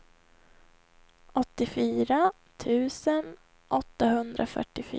åttiofyra tusen åttahundrafyrtiofyra